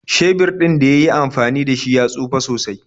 Shebir ɗin da yi yi amfani da shi ya tsufe sosai.